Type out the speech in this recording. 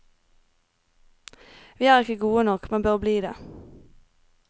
Vi er ikkje gode nok, men bør bli det.